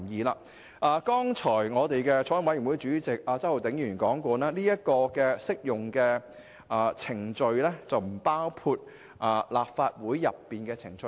法案委員會主席周浩鼎議員剛才已提到，按"適用程序"的涵義，它並不包括立法會的程序。